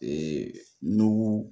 Ee nu